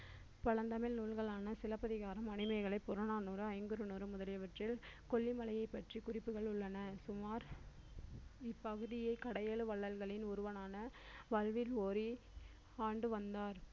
பழந்தமிழ் நூல்களான சிலப்பதிகாரம் மணிமேகலை புறநானூறு ஐங்குறுநூறு முதலியவற்றில் கொல்லிமலையைப் பற்றி குறிப்புகள் உள்ளன சுமார் இப்பகுதியை கடையெழு வள்ளல்களின் ஒருவனான வல்வில் ஓரி ஆண்டு வந்தார்